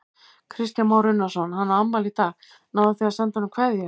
Kristján Már Unnarsson: Hann á afmæli í dag, náðuð þið að senda honum kveðju?